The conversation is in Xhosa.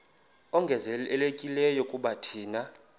ongezelelekileyo kuba thina